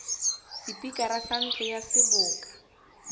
sepikara sa ntlo ya seboka